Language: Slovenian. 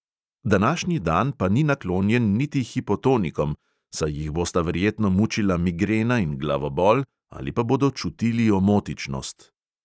Današnji dan pa ni naklonjen niti hipotonikom, saj jih bosta verjetno mučila migrena in glavobol ali pa bodo čutili omotičnost.